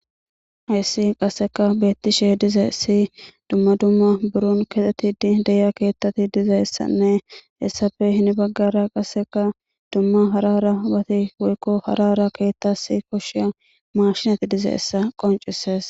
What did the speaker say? Hayssi qasseka beettishe dizaysi dumma dumma burun kexeti di deya keettati dizayssanne hessafe hini baggara qasseka dumma harara bati woykko harara keettasi koshshiya mashinati dizayessa qoncises.